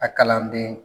A kalanden